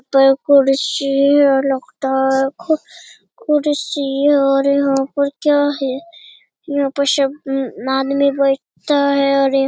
पर कुर्सी है और लगता है एक कुर्सी है और यहाँ पर क्या है यहाँ पर सब में बेठता है और --